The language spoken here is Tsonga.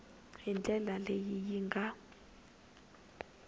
hi ndlela leyi yi nga